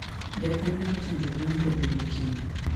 japuonj mar chanjo gwen brobiro kiny